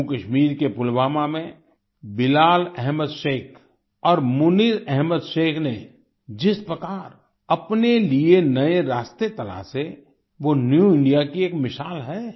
जम्मूकश्मीर के पुलवामा में बिलाल अहमद शेख और मुनीर अहमद शेख ने जिस प्रकार अपने लिए नए रास्ते तलाशे वो न्यू इंडिया की एक मिसाल है